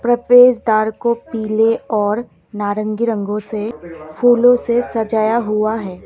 प्रवेश द्वार को पीले और नारंगी रंगों से फूलों से सजाया हुआ है।